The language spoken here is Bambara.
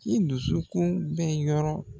I dusu kun bɛɛ yɔrɔ.